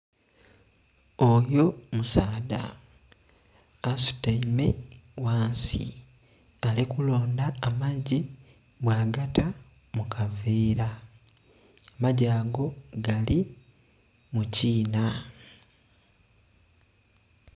Oyo musaadha asutaime ghansi ali kulondha amaggi bwa gata mu kaveera, amaggi ago agali mu kiinha.